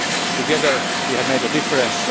Together we have made a difference.